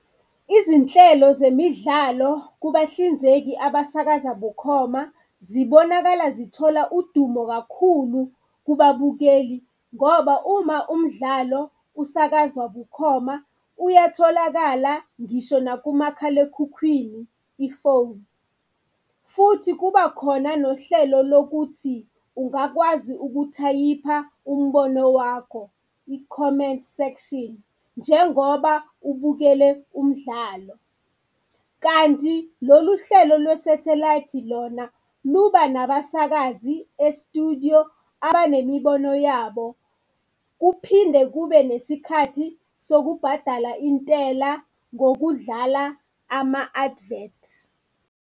Izinhlelo zemidlalo kubahlinzeki abasakaza bukhoma zibonakala zithola udumo kakhulu kubabukeli ngoba uma umdlalo usakazwa bukhoma uyatholakala ngisho nakumakhalekhukhwini, ifoni. Futhi kuba khona nohlelo lokuthi ungakwazi ukuthayipha umbono wakho, ikhomenti sekshini njengoba ubukele umdlalo. Kanti lolu hlelo lwe-satellite lona luba nabasakazi e-studio abanemibono yabo, kuphinde kube nesikhathi sokubhadala intela ngokudlala ama-adverts.